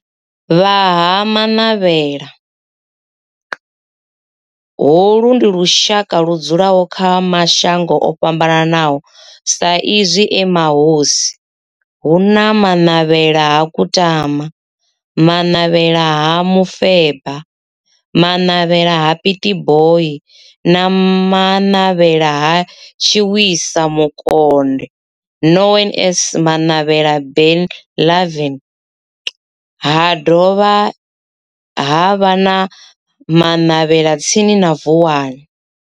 Vha Ha-Manavhela, holu ndi lushaka ludzulaho kha mashango ofhambanaho sa izwi e mahosi, hu na Manavhela ha Kutama, Manavhela ha Mufeba, Manavhela ha Pietboi na Manavhela ha Tshiwisa Mukonde known as Manavhela Benlavin, ha dovha havha na Manavhela tsini na Vuwani.